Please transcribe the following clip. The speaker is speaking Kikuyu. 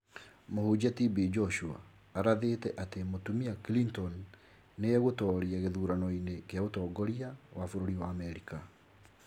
Mũhunjia TB Joshua arathĩte atĩ mũtumia Clinton nĩ egũtoria gĩthurano-inĩ kĩa ũtongoria wa bũrũri wa Amerika